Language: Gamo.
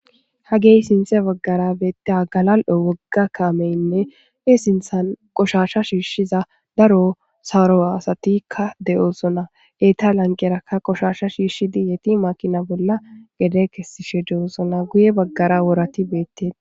ha gey sinthe baggara beette galal7o wogga kaameynne e sinthan qoshasha shiishshiza daro sawuro asatikka de7oosona eta lanqeraka qoshasha shiishshidi yeti makina bolla gede kessishe de7oosona guye baggara worati beetted